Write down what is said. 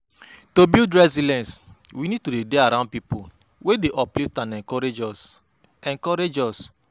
To build resilence we need to dey around pipo wey dey uplift and encourage us encourage us